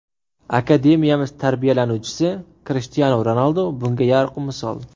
Akademiyamiz tarbiyalanuvchisi Krishtianu Ronaldu bunga yorqin misol.